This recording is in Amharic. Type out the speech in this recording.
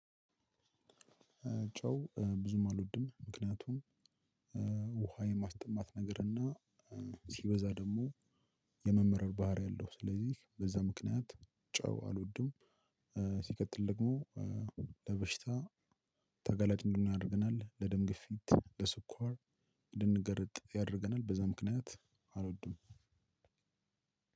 ጨው ብዙም አልወድም ምክንያቱም እ ውሃ የማስጠማት ነገርና ሲበዛ ደግሞ የመመረር ባህሪ አለው። ስለዚህ በዛ ምክንያት ጨው አልወድም። ሲቀጥል ደግሞ ለበሽታ ተጋላጭ እንድኖን ያናደርገናል ለደም ግፊት ለስኳር እንድንገረጥ ያደርገናል። በዛ ምክንያት አልወድም።